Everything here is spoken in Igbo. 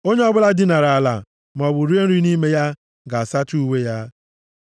Onye ọbụla dinara ala maọbụ rie nri nʼime ya, ga-asacha uwe ya.